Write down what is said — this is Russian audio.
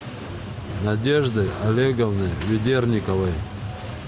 надеждой олеговной ведерниковой